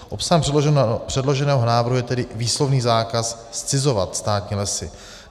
Obsahem předloženého návrhu je tedy výslovný zákaz zcizovat státní lesy.